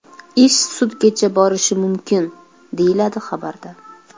Ish sudgacha borishi mumkin”, deyiladi xabarda.